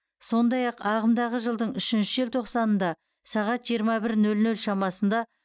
сондай ақ ағымдағы жылдың үшінші желтоқсанында сағат жиырма бір нөл нөл шамасында